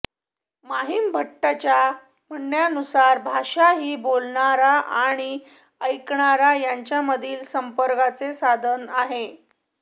महिमभट्टाच्या म्हणण्यानुसार भाषा ही बोलणारा आणि ऐकणारा यांच्यामधील संपर्काचे साधन आहे